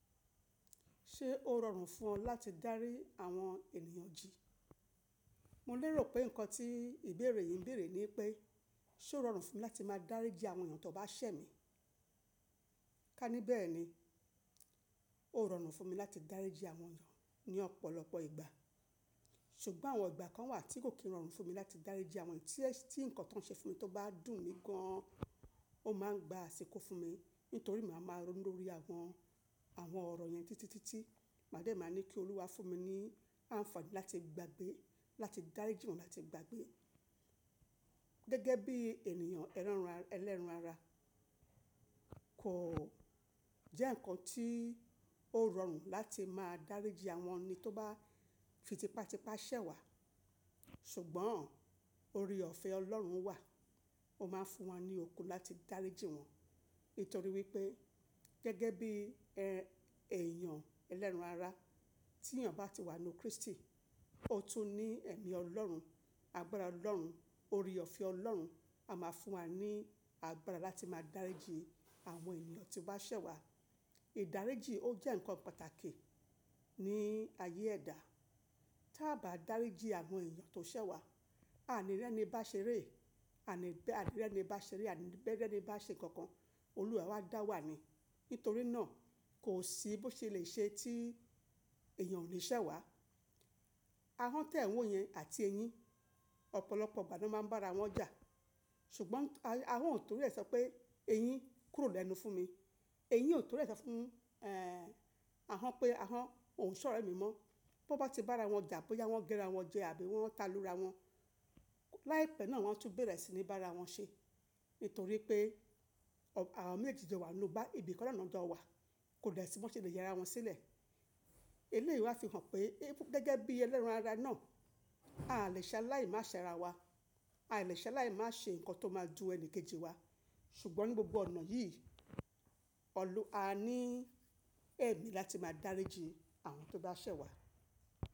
Ṣé ó rọrùn fún ọ láti dárí àwọn ènìyàn jí? Mo lérò pé nǹkan tí ìbéèrè yìí ń bèèrè ni pé, ṣe ó rọrùn fún mi láti máa dáríji àwọn èèyàn yàn tó bá ṣẹ̀ mí? Ka níbẹ̀ ni, ó rọrùn fún mi láti dáríji àwọn ènìyàn ní ọ̀pọ̀lọpọ̀ ìgbà, ṣùgbọ́n àwọn ìgbà kan wà tí kò kí ń rọrùn fún mi láti dáríji àwọn tí ẹ̀, tí nǹkan tó ń ṣe fún mi tó bá dùn mí gan an, ó máa ń gba àsìkò fún mi, nítorí màá máa ronú lórí àwọn, àwọn ọ̀rọ̀ yẹn títitítí. Màá dẹ, màá ní kí Olúwa fún mi ní àǹfààní láti gbagbe, láti dáríji wọ́n láti gbagbe. Gẹ́gẹ́ bí ènìyàn ẹlẹ́ran-ara, kò jẹ́ nǹkan tí ó rọrùn láti máa dáríji àwọn ẹni tó bá fi tipátipá ṣẹ̀ wá. Ṣùgbọ́n ore ofẹ Ọlọ́run wà, ó máa ń fún wa ní òkún láti dáríji wọ́n. Nítorí wípé gẹ́gẹ́ bí ẹ èèyàn ẹlẹ́ran ara, tí èèyàn bá ti wà nínú Kristi, ó tún ní ẹ̀mí Ọlọ́run, agbára Ọlọ́run, ore ọfẹ Ọlọ́run, a máa fún wa ní agbára láti máa dáríji àwọn ènìyàn tí o ba ṣẹ̀ wá. Ìdáríji ó jẹ́ nǹkan pàtàkì ní ayé ẹ̀dá. Tí a bá dáríji àwọn èèyàn tó ṣẹ̀ wá, àaní rẹ́ni bá ṣeré, àníbẹ́ ànírẹ́ni bá ṣeré, àníbẹ́ẹ́ni bá ṣe nǹkan kan, Olúwa ẹ awa dá wa ni. Nítorí náà kò sí bó ṣe le ṣe tí ènìyàn ò ni ṣẹ̀ wá. Àwọn tẹ̀ n wo yẹn àti eyín, ọ̀pọ̀lọpọ̀ ìgbà ni wọ́n máa ń bá ara wọn jà. Ṣùgbọ́n àwọn ò torí ẹ̀ sọ pé eyín kúrò lẹ́nu fún mi. Eyín ò torí rẹ̀ sọ fún, ẹ́, àhọn pé àhọn ò ń ṣọ̀rẹ́ mi mọ́. Bo bá ti bá ara wọn jà, bóyá wọ́n gé ara wọn jẹ àbí wọ́n ta lura wọn, láìpẹ́ náà wọ́n a tún bẹ̀rẹ̀ sí ní bá ara wọn ṣe. Nítorí pé àwọn méjèèjì jọ wà nínú bá ìbi kan naa ni wọn jọ wà, kò dẹ si bọ ṣe lè yẹra wọn sílẹ̀. Eléyìí wáa fi hàn pé gẹ́gẹ́ bí ẹlẹ́ran ara náà, ai lè ṣe aláì má ṣẹ rawa. Ai lè ṣe aláì má ṣe nǹkan tó máa dun ẹni kejì wa. Ṣùgbọ́n ní gbogbo ọ̀nà yìí, Ọlúwa a ní ẹ̀mí láti máa dáríji àwọn tó bá ṣẹ̀ wá.